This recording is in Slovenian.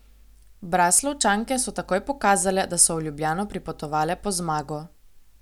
Braslovčanke so takoj pokazale, da so v Ljubljano pripotovale po zmago.